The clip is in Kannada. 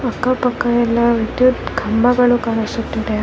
ಅಕ್ಕ ಪಕ್ಕ ಎಲ್ಲ ವಿದ್ಯುತ್ ಕಂಬಗಳು ಕಾಣಿಸುತ್ತಿದೆ.